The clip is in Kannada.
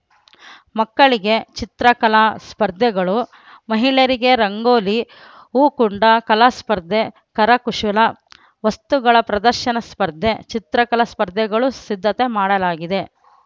ಮಕ್ಕಳಿಗೆ ಚಿತ್ರಕಲಾ ಸ್ಪರ್ಧೆಗಳು ಮಹಿಳೆಯರಿಗೆ ರಂಗೋಲಿ ಹೂಕುಂಡ ಕಲಾಸ್ಪರ್ಧೆ ಕರಕುಶಲ ವಸ್ತುಗಳ ಪ್ರದರ್ಶನ ಸ್ಪರ್ಧೆ ಚಿತ್ರಕಲಾ ಸ್ಪರ್ಧೆಗಳೂ ಸಿದ್ಧತೆ ಮಾಡಲಾಗಿದೆ